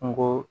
N go